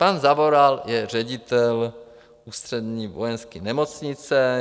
Pan Zavoral je ředitel Ústřední vojenské nemocnice.